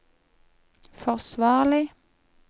forsvarlig